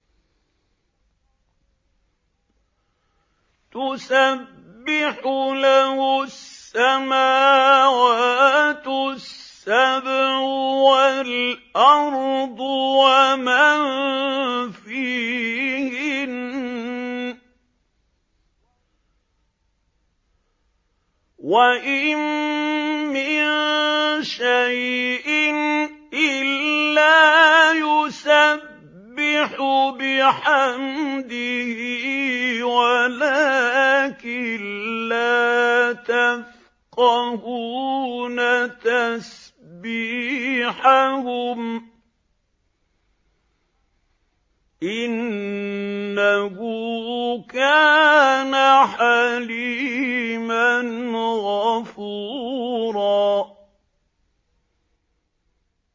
تُسَبِّحُ لَهُ السَّمَاوَاتُ السَّبْعُ وَالْأَرْضُ وَمَن فِيهِنَّ ۚ وَإِن مِّن شَيْءٍ إِلَّا يُسَبِّحُ بِحَمْدِهِ وَلَٰكِن لَّا تَفْقَهُونَ تَسْبِيحَهُمْ ۗ إِنَّهُ كَانَ حَلِيمًا غَفُورًا